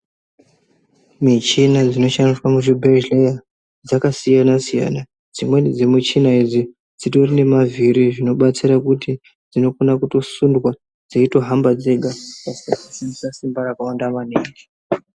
Mishina dzinoshandiswa muzvibhedhlera dzakasiyana siyana dzimweni dzemushina idzi dzitori nemavhiri dzinobatsira kuti dzinokona kutosundwa dzeitohamba dzega pasina simba rakawanda maningi.